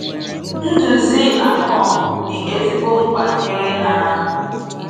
Ndúzi Akon dị ezigbo mkpa nyere ha.